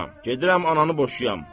Gedirəm ananı boşuyam.